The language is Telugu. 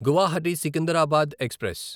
గువాహటి సికిందరాబాద్ ఎక్స్ప్రెస్